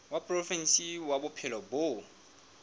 wa provinse ya bophelo bo